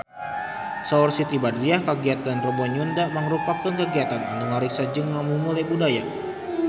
Saur Siti Badriah kagiatan Rebo Nyunda mangrupikeun kagiatan anu ngariksa jeung ngamumule budaya Sunda